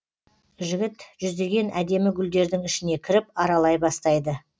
жігіт жүздеген әдемі гүлдердің ішіне кіріп аралай бастайды